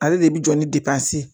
Ale de bi jɔ ni ye